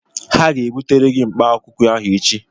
Ha ga-ebutere gị mkpaakwụkwọ ahụ echi